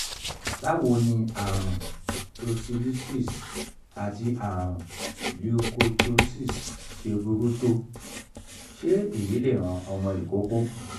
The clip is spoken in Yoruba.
báwo ni àrùn tonsillitis àti àrùn leukocytosis ṣe burú tó? se eyi le ran omo ikoko?